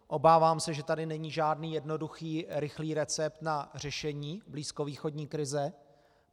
Obávám se, že tady není žádný jednoduchý rychlý recept na řešení blízkovýchodní krize.